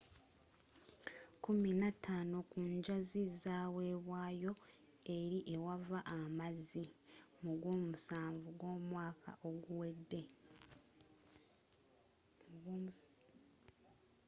kkumi na taano ku njazi zawebwayo eri ewava amazzi mu gwomusanvu gw'omwaka oguwedde